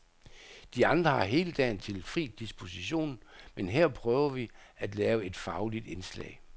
De andre har hele dagen til fri disposition, men hér prøver vi at lave et fagligt indslag.